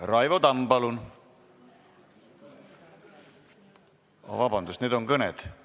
Raivo Tamm, palun!